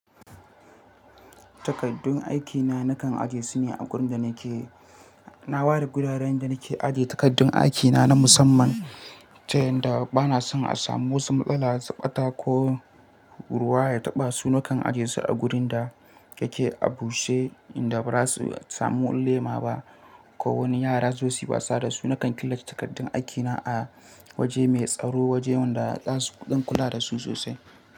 Takardun aikina nakan ajiye su ne a wurin da nake. Na ware guraren da nake aje takardun aikina na musamman ta yanda bana son a samu wata matsala, tsabta ko ruwa ya taɓa su. Nakan ajiye su a wurin da yake a bushe inda ba za su samu lema ba ko wani yara zasu wasa da su. Nakan killace takardun aikina a waje mai tsaro, wajen da za su don kula da su sosai.